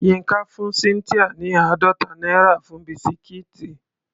Yínká fún Cynthia ní àádọ́ta náírà fún bisikíìtì.